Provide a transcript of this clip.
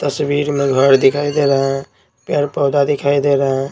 तस्वीर में घर दिखाई दे रहा है पेड़-पौधा दिखाई दे रहा है।